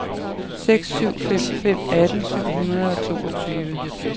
seks syv fem fem atten syv hundrede og toogtyve